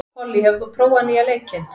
Pollý, hefur þú prófað nýja leikinn?